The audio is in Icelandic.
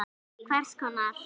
Hvers konar.